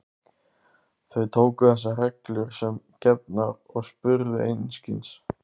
Þau tóku þessar reglur sem gefnar og spurðu einskis.